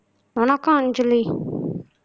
வணக்கம் அஞ்சலி